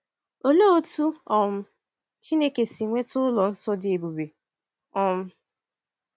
Olee otú um Chineke si nweta ụlọ nsọ dị ebube? um